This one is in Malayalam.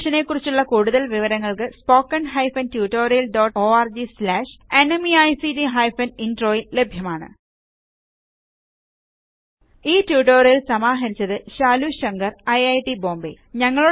ഈ മിഷനെ കുറിച്ചുള്ള കൂടുതല് വിവരങ്ങൾക്ക് spoken hyphen tutorial dot org slash NMEICT hyphen intro യിൽ ലഭ്യമാണ് ഈ ട്യൂട്ടോറിയൽ സമാഹരിച്ചത് ശാലു ശങ്കർ ഐറ്റ് ബോംബേ